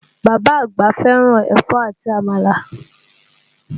Bàbá àgbà fẹ́ràn ẹ̀fọ́ àti Àmàlà